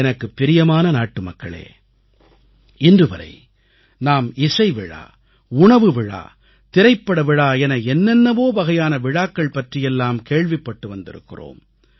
எனக்குப் பிரியமான நாட்டுமக்களே இன்றுவரை நாம் இசை விழா உணவு விழா திரைப்பட விழா என என்னென்னவோ வகையான விழாக்கள் பற்றியெல்லாம் கேள்விப்பட்டு வந்திருக்கிறோம்